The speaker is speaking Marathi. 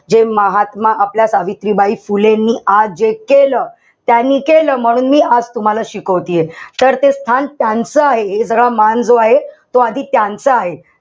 हे महात्मा आपल्या सावित्रीबाई फुलेंनी आज जे केलं, त्यांनी केलं म्हणून मी आज तुम्हाला शिकवतेय. तर ते स्थान त्यांचं आहे. हे सगळं मान जो आहे. तो आधी त्यांचा आहे.